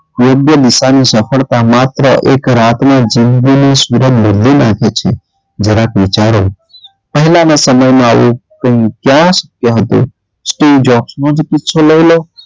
યોગ્ય નિશાની સફળતા માત્ર એક રાતનું જિંદગી નું બદલી નાખે છે જરાક વિચારો પહેલાં ના સમયમાં આવું ક્યાં હતું સ્ટીલ જોશનું લઇ લો.